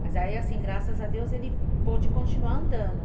Mas aí, assim, graças a Deus, ele pôde continuar andando.